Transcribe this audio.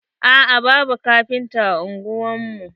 a'a, babu kafinta a ungwar mu.